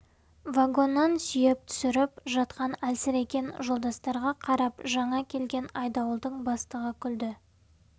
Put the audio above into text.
вагоннан сүйеп түсіріп жатқан әлсіреген жолдастарға қарап жаңа келген айдауылдың бастығы күлді